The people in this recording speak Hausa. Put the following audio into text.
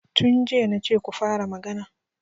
Tun jiya na ce ku fara magana.